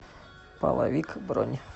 половик бронь